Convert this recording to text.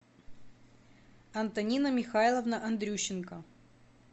антонина михайловна андрющенко